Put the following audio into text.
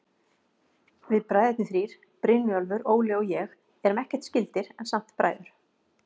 Við bræðurnir þrír, Brynjólfur, Óli og ég, erum ekkert skyldir, en samt bræður.